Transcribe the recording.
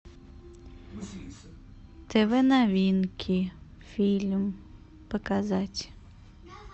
тв новинки фильм показать